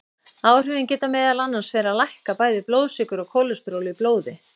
Áhrifin geta meðal annars verið að lækka bæði blóðsykur og kólesteról í blóði.